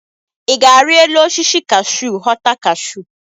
I ga-ari elu osisi kahsụ ghọta kahsụ?